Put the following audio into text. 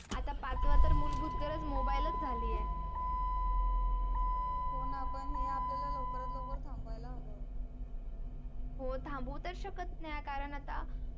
आता पाचवा तर मूलभूत गरज mobile च झाली आहे. होन पण हे आपल्याला लवकरात लवकर थांबवायला हव हो थांबवू तर शकत नाही कारण आता